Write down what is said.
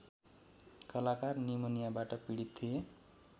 कलाकार निमोनियाबाट पीडित थिए